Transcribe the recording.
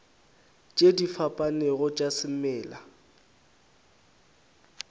tše di fapanego tša semela